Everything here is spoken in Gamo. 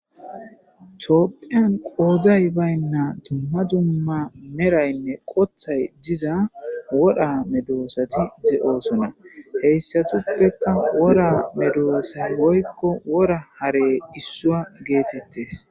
Thoophphiya qooday baynna dumma dumma meraynne qoththay diza woraa medoosathi de7oosona; he issathuppekka woraa medoosay woykko wora haree issuwa geetheththees.